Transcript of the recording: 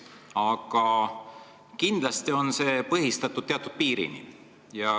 Aga see on põhjendatud teatud piirini.